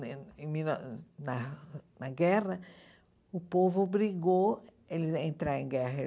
em mil nove na na guerra, o povo obrigou ele a entrar em guerra.